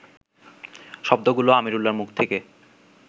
শব্দগুলো আমিরুল্লাহর মুখ থেকে